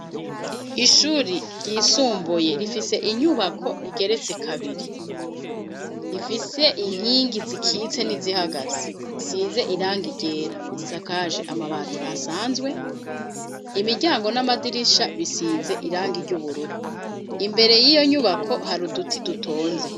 Ishuri ryisumbuye rifise inyubako igeretse kabiri, ifise inkingi zikitse n'izihagaze, isize irangi ryera, isakaje amabati asanzwe, imiryango n'amadirisha bisize irangi ry'ubururu, imbere y'iyo nyubako hari uduti dutonze.